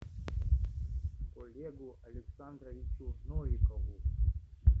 олегу александровичу новикову